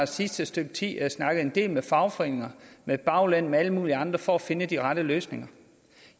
sidste stykke tid snakket en del med fagforeninger med baglande og med alle mulige andre for at finde de rette løsninger